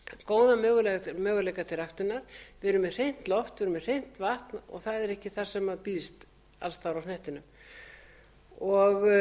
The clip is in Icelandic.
góða möguleika til ræktunar við erum með hreint loft við erum með hreint vatn og það er ekki það sem býðst alls staðar á hnettinum